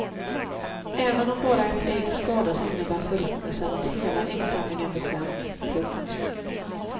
Även om bara ett ägg skadas innebär förruttnelsen att hela äggsamlingen blir skämd. punkt